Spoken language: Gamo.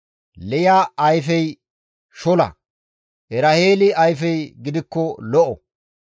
Liya ayfey shola; Eraheeli ayfey gidikko lo7o.